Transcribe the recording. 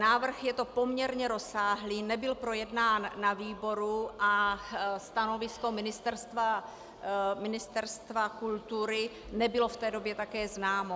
Návrh je to poměrně rozsáhlý, nebyl projednán na výboru a stanovisko Ministerstva kultury nebylo v té době také známo.